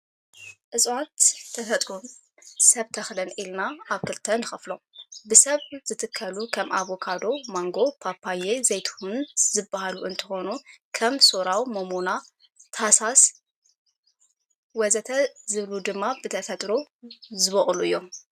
እፅዋት ብተፈጥሮን ሰብ ተኽልን ኢልና ኣብ ክልተ ንከፍሎም ።ብሰብ ዝትከሉ ከም ፣ኣቫካዶ፣ ማንጎ፣ ፓፓየ፣ ዘይትሁን ዝበሉ እንትኮኑ ከም ሰራው፣ ሞሞና፣ ታሶስ ወዘተ... ዝበሉ ድማ ብተፈጥሮ ዝቦኩሉ እዮም።